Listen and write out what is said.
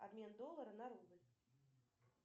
обмен доллара на рубль